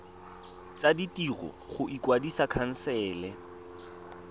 tsa ditiro go kwadisa khansele